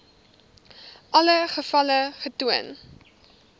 alle gevalle getoon